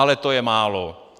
Ale to je málo.